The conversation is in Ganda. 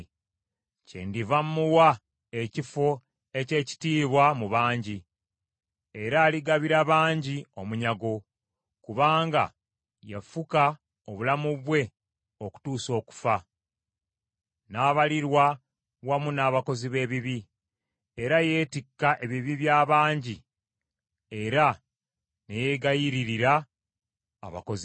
Kyendiva mmuwa ekifo eky’ekitiibwa mu bangi, era aligabira bangi omunyago kubanga yafuka obulamu bwe okutuusa okufa, n’abalirwa wamu n’abakozi b’ebibi. Era yeetikka ebibi by’abangi era ne yeegayiririra abakozi b’ebibi.